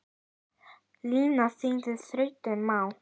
Lina þínar þrautir má.